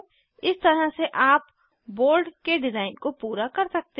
इस तरह से आप बोर्ड के डिज़ाइन को पूरा कर सकते हैं